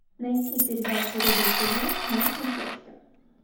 найти передачу рубль тв на смотрешке